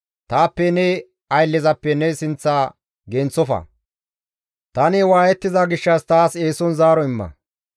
Taappe ne ayllezappe ne sinththa genththofa; tani waayettiza gishshas taas eeson zaaro imma.